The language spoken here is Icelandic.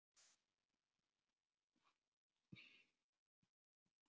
Þetta er hass, kvað Baddi upp úr eftir að hafa þefað með lögregluþjónunum.